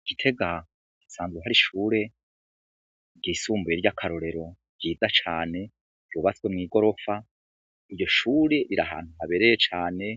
I gitega hasanzwe hari ishuri ryisumbuye ry'akarorero ryiza cane ryubatswe mw'igorofa. Iryo shure riri ahantu habereye cane